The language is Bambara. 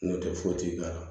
N'o tɛ foyi ti k'a la